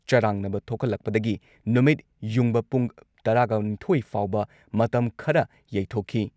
ꯆꯔꯥꯡꯅꯕ ꯊꯣꯛꯍꯜꯂꯛꯄꯗꯒꯤ ꯅꯨꯃꯤꯠꯌꯨꯡꯕ ꯄꯨꯡ ꯇꯔꯥꯒꯅꯤꯊꯣꯏ ꯐꯥꯎꯕ ꯃꯇꯝ ꯈꯔ ꯌꯩꯊꯣꯛꯈꯤ ꯫